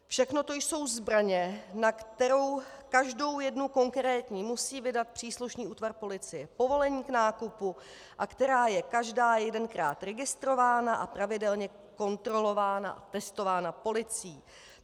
Všechno to jsou zbraně, na kterou každou jednu konkrétní musí vydat příslušný útvar policie povolení k nákupu a která je každá jedenkrát registrována a pravidelně kontrolována a testována policií.